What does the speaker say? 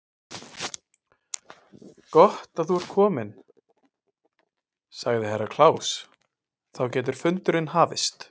Gott að þú ert kominn, sagði Herra Kláus, þá getur fundurinn hafist.